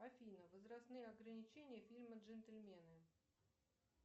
афина возрастные ограничения фильма джентельмены